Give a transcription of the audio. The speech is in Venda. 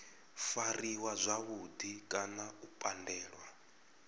fariwa zwavhudi kana u pandelwa